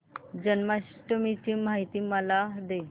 जन्माष्टमी ची माहिती मला दे